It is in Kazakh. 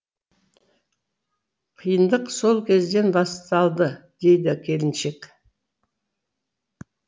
қиындық сол кезден басталды дейді келіншек